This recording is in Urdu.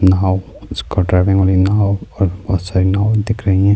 ناؤ اس کا ڈرائیو ناؤ اور بہت ساری ناؤ دکھ رہی ہیں-